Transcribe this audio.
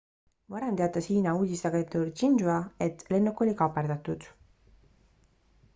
varem teatas hiina uudisteagentuur xinhua et lennuk oli kaaperdatud